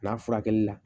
Bila furakɛli la